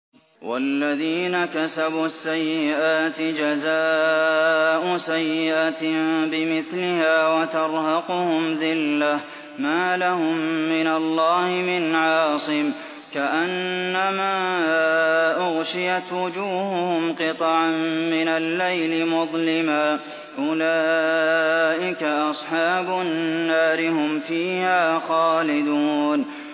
وَالَّذِينَ كَسَبُوا السَّيِّئَاتِ جَزَاءُ سَيِّئَةٍ بِمِثْلِهَا وَتَرْهَقُهُمْ ذِلَّةٌ ۖ مَّا لَهُم مِّنَ اللَّهِ مِنْ عَاصِمٍ ۖ كَأَنَّمَا أُغْشِيَتْ وُجُوهُهُمْ قِطَعًا مِّنَ اللَّيْلِ مُظْلِمًا ۚ أُولَٰئِكَ أَصْحَابُ النَّارِ ۖ هُمْ فِيهَا خَالِدُونَ